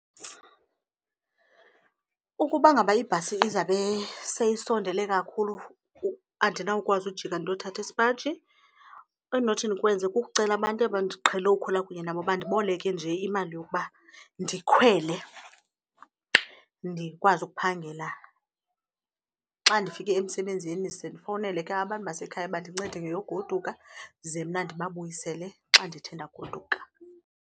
Ukuba ngaba ibhasi izabe seyisondele kakhulu andinawukwazi ujika ndiyothatha isipaji endinothi ndikwenze kukucela abantu aba ndiqhele ukhwela kunye nabo bandiboleke nje imali yokuba ndikhwele ndikwazi ukuphangela. Xa ndifike emsebenzini ze ndifowunele ke abantu basekhaya bandincede ngeyogoduka ze mna ndibabuyisele xa ndithe ndagoduka.